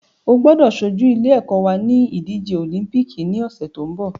O gbọ́dọ̀ ṣojú ilé ẹ́kọ́ wa ní ìdíje òlíḿpìkì ní ọ̀sẹ̀ tó ń bọ̀